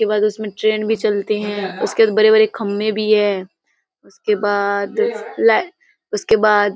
इसके बाद उसमें ट्रेन भी चलते हैं उसके अंदर बड़े-बड़े खम्बे भी हैं उसके बाद उसके बाद --